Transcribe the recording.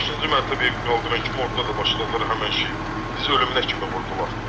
Beşinci mərtəbəyə qaldıran kimi orda da başladılar həmin şeydən, bizi ölümünə kimi vurdular.